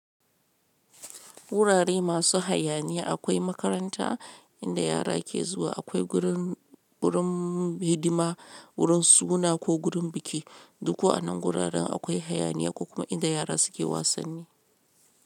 Wurare masu hayaniya akwai makaranta inda yara ke zuwa, akwai gurin hidima, gurin suna ko gurin biki. Duk waɗannan wuraren akwai hayaniya kuma inda yara suke wasanni.